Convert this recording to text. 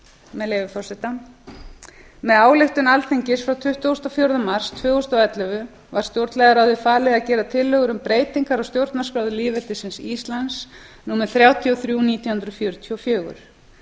með leyfi forseta með ályktun alþingis frá tuttugasta og fjórða mars tvö þúsund og ellefu var stjórnlagaráði falið að gera tillögur um breytingar á stjórnarskrá lýðveldisins íslands númer þrjátíu og þrjú nítján hundruð fjörutíu og fjögur